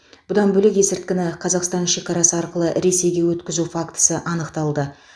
бұдан бөлек есірткіні қазақстан шекарасы арқылы ресейге өткізу фактісі анықталды